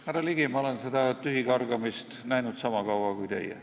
Härra Ligi, ma olen seda tühikargamist näinud sama kaua kui teie.